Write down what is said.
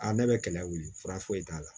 ne bɛ kɛlɛ wuli fura foyi t'a la